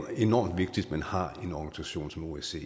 enormt vigtigt at man har en organisation som osce